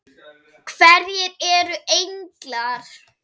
Hverjir eru englar?